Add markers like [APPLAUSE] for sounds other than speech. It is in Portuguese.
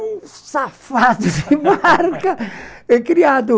safado [LAUGHS] criado